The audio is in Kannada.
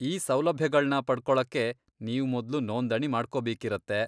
ಈ ಸೌಲಭ್ಯಗಳ್ನ ಪಡ್ಕೊಳಕ್ಕೆ ನೀವ್ ಮೊದ್ಲು ನೋಂದಣಿ ಮಾಡ್ಕೊಬೇಕಿರತ್ತೆ.